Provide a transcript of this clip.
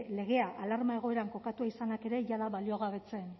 legea alarma egoeran kokatua izanak ere jada baliogabetzen